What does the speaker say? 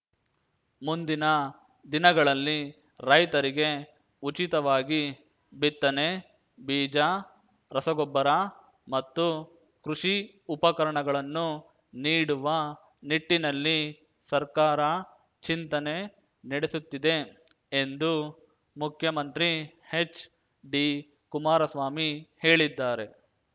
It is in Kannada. ಮುಂದಿನ ದಿನಗಳಲ್ಲಿ ರೈತರಿಗೆ ಉಚಿತವಾಗಿ ಬಿತ್ತನೆ ಬೀಜ ರಸಗೊಬ್ಬರ ಮತ್ತು ಕೃಷಿ ಉಪಕರಣಗಳನ್ನು ನೀಡುವ ನಿಟ್ಟಿನಲ್ಲಿ ಸರ್ಕಾರ ಚಿಂತನೆ ನಡೆಸುತ್ತಿದೆ ಎಂದು ಮುಖ್ಯಮಂತ್ರಿ ಎಚ್‌ಡಿಕುಮಾರಸ್ವಾಮಿ ಹೇಳಿದ್ದಾರೆ